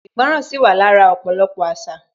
Ìgbọràn sì wà lára ọ̀pọ̀lọpọ̀ àṣà